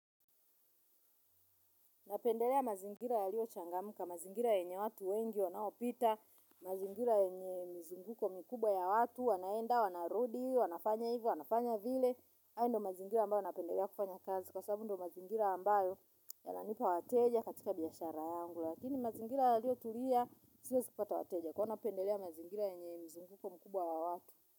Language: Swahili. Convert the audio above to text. Napendelea mazingira ya liyo changamuka, mazingira yenye watu wengi wanaopita, mazingira yenye mzunguko mkubwa ya watu, wanaenda, wanaarudi, wanafanya hivyo, wanafanya vile. Hayo ndo mazingira ambayo napendelea kufanya kazi kwa sabu ndo mazingira ambayo ya nanipa wateja katika biyashara yangu. Lakini mazingira ya liyo tulia, siezi pata wateja kwa napendelea mazingira yenye mzunguko mkubwa wa watu.